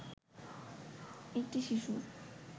একটি শিশুর